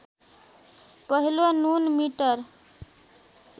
पहिलो नुन मिटर